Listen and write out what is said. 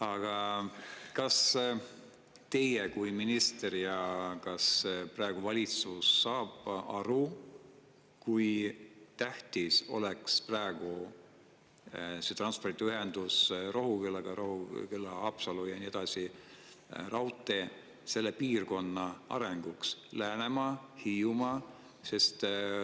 Aga kas teie kui minister saate ja kas praegune valitsus saab aru, kui tähtis oleks praegu see transpordiühendus Rohukülaga Haapsalu ja kogu selle piirkonna arenguks – Läänemaa, Hiiumaa?